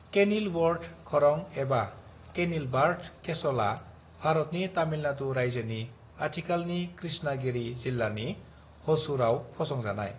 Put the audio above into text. Kenilworth खरं एबा Kenilworth केस'लआ भारतनि तामिलनादु रायजोनि आथिखालनि कृष्णगिरि जिल्लानि ह'सुरआव फसंजानाय।